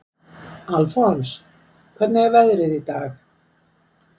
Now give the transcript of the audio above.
Alfons, hvernig er veðrið í dag?